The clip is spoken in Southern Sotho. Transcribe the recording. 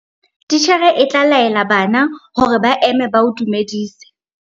titjhere e tla laela bana hore ba eme ba o dumedise